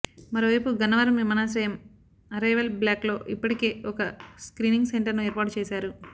మరోవైపు గన్నవరం విమానాశ్రయం అరైవల్ బ్లాక్లో ఇప్పటికే ఒక స్క్రీనింగ్ సెంటర్ను ఏర్పాటు చేశారు